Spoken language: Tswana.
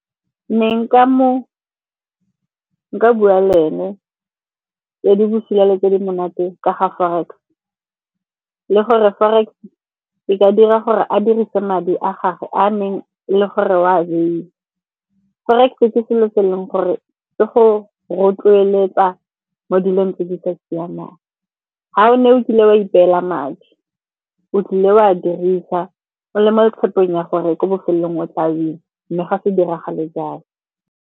Ne nka bua le ene tse di busula le tse di monate ka ga Forex. Le gore Forex-e e ka dira gore a dirise madi a gagwe a neng le gore o a baile. Forex-e ke selo se e leng gore se go rotloeletsa mo dilong tse di sa siamang. Ga o ne o kile wa ipela madi, o tlile o a dirisa o le mo tshepong ya gore ko bofelelong o tla winner, mme ga se diragale jalo.